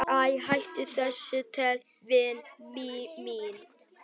"""Æ, hættu þessu tali, vina mín."""